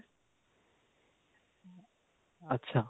ਅੱਛਾ